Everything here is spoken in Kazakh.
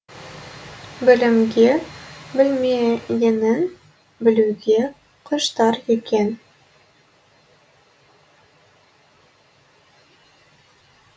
білімге білмегенін білуге құштар екен